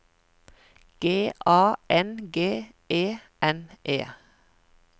G A N G E N E